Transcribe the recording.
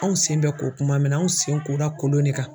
Anw sen bɛ ko kuma min na anw sen kora kolon de kan.